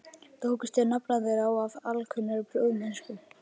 Tókust þeir nafnarnir á af alkunnri prúðmennsku.